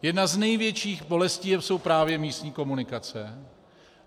Jedna z největších bolestí jsou právě místní komunikace.